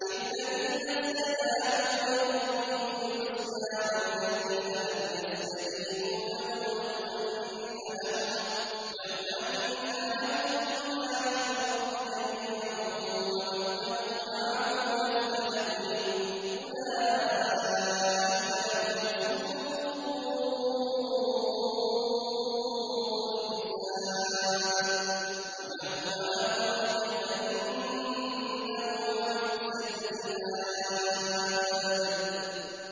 لِلَّذِينَ اسْتَجَابُوا لِرَبِّهِمُ الْحُسْنَىٰ ۚ وَالَّذِينَ لَمْ يَسْتَجِيبُوا لَهُ لَوْ أَنَّ لَهُم مَّا فِي الْأَرْضِ جَمِيعًا وَمِثْلَهُ مَعَهُ لَافْتَدَوْا بِهِ ۚ أُولَٰئِكَ لَهُمْ سُوءُ الْحِسَابِ وَمَأْوَاهُمْ جَهَنَّمُ ۖ وَبِئْسَ الْمِهَادُ